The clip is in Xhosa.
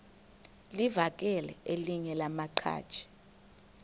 livakele elinye lamaqhaji